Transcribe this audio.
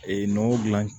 Ee nɔnɔ gilan